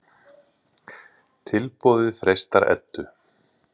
Tilboðið freistar Eddu.